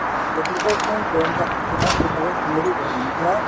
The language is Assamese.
forty four point ten percent তোমাৰ two thousand twenty two ত হʼল মানে প্ৰায়